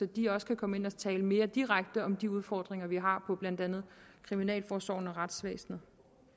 de også kan komme ind og tale mere direkte om de udfordringer vi har for blandt andet kriminalforsorgen og retsvæsenet